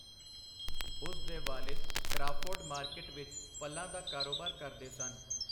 ਉਸ ਦੇ ਵਾਲਿਦ ਕਰਾਫੋਰਡ ਮਾਰਕਿਟ ਵਿਚ ਫਲਾਂ ਦਾ ਕਾਰੋਬਾਰ ਕਰਦੇ ਸਨ.